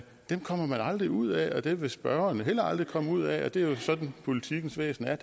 kommer man aldrig ud af og dem vil spørgeren heller aldrig komme ud af det er jo sådan politikkens væsen er